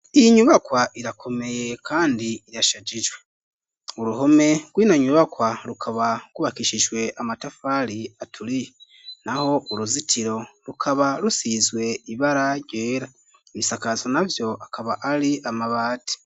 Iyi nyubakwa irakomeye kandi irashajije uruhome rw'ino nyubakwa rukaba kubakishijwe amatafali aturiye naho uruzitiro rukaba rusizwe ibara ryera ibisakazo navyo akaba ari amabati.